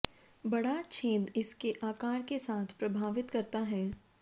बड़ा छेद इसके आकार के साथ प्रभावित करता है